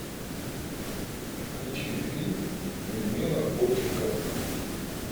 включи фильм людмила гурченко